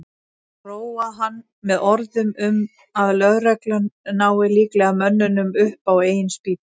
Róa hann með orðum um að lögreglan nái líklega mönnunum upp á eigin spýtur.